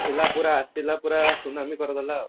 ଥିଲା ପୁରା ଆସିଲା ପୁରା ସୁନାମୀ କରିଦେଲା ଆଉ